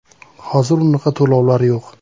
Hozir unaqa to‘lovlar yo‘q.